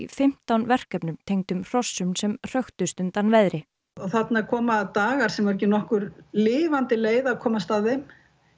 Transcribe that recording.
fimmtán verkefnum tengdum hrossum sem hröktust undan veðri þarna koma dagar þar sem er ekki nokkur lifandi leið að komast að þeim